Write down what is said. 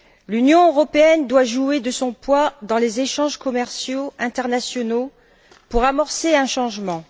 L'Union européenne doit jouer de son poids dans les échanges commerciaux internationaux pour amorcer un changement.